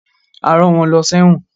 A rán wọn lọ sẹ́wọ̀n